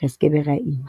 re sekebe ra ima.